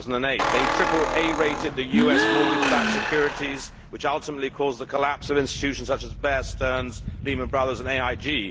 2008. They triple A rated the US mortgage backed securities, which ultimately caused the collapse of institutions such as Bear Stearns, Lehman Brothers and AIG.